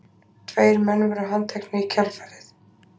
Tveir menn voru handteknir í kjölfarið